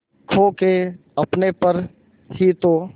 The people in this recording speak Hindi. खो के अपने पर ही तो